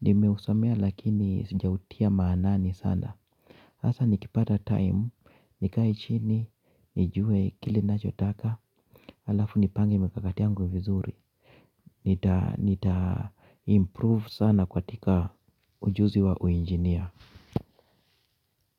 Nimeusomea lakini sijautia maanani sana. Hasa nikipata time, nikae chini, nijue kile nacho taka, alafu nipange mikakati yangu vizuri. Nita improve sana katika ujuzi wa uinjinia.